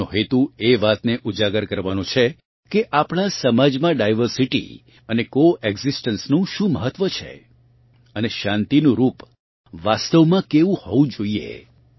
તેમનો હેતુ એ વાતને ઊજાગર કરવાનો છે કે આપણાં સમાજમાં ડાયવર્સિટી અને કોએક્ઝિસ્ટન્સ નું શું મહત્વ છે અને શાંતિનું રૂપ વાસ્તવમાં કેવું હોવું જોઇએ